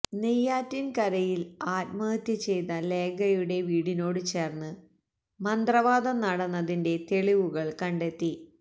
നെയ്യാറ്റിന്കരയില് ആത്മഹത്യ ചെയ്ത ലേഖയുടെ വീടിനോട് ചേര്ന്ന് മന്ത്രവാദം നടന്നതിന്റെ തെളിവുകള് കണ്ടെത്തി